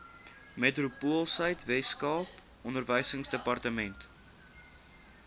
metropoolsuid weskaap onderwysdepartement